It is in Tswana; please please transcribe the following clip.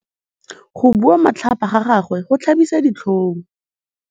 Go bua matlhapa ga gagwe go tlhabisa ditlhong.